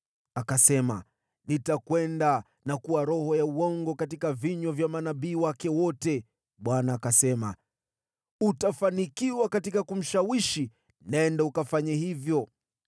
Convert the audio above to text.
“Akasema, ‘Nitakwenda na kuwa roho ya uongo katika vinywa vya manabii wake wote.’ “ Bwana akasema, ‘Utafanikiwa katika kumshawishi. Nenda ukafanye hivyo.’